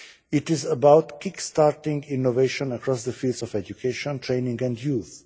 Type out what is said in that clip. It is about kick-starting innovation across the fields of education, training and youth.